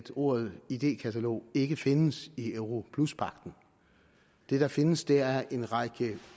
ordet idékatalog ikke findes i europluspagten det der findes er en række